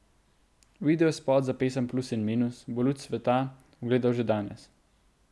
Videospot za pesem Plus in minus bo luč sveta ugledal že danes.